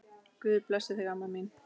Guð blessi þig, amma mín.